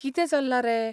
कितें चल्लां रे?